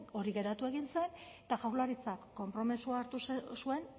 hori geratu egin zen eta jaurlaritzak konpromezua hartu zuen